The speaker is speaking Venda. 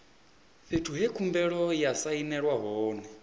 fhethu he khumbelo ya sainelwa hone